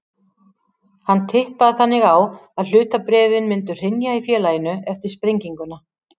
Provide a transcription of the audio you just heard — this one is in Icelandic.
Hann tippaði þannig á að hlutabréfin myndu hrynja í félaginu eftir sprenginguna.